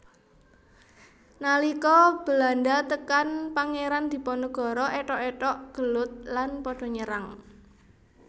Nalika Belanda tekan Pangeran Diponegoro ethok ethok gelut lan pada nyerang